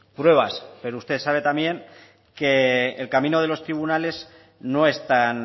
pruebas pero usted sabe también que el camino de los tribunales no es tan